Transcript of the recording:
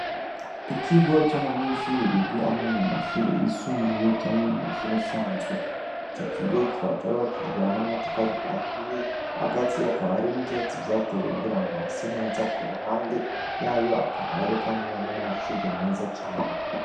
Ikigo c'abanyenshuri bigira amo mu mashuri isumbuye canke mu mashuri asanzwe ico ikigo kikaba carobakijwe hamwe n'amatafari ahiye hagati yakabariyo n'ivisatzi vyatewe kgira ngo ha se neza ku ruhande yayo akabariyo, kandi nihamwe n'amashugu meza cane.